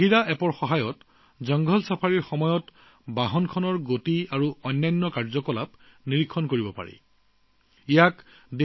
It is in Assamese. বাঘিৰা এপৰ সহায়ত জংঘল ছাফাৰী ছাফাৰীৰ সময়ত গাড়ীৰ গতি আৰু অন্যান্য গতিবিধি নিৰীক্ষণ কৰা সম্ভৱ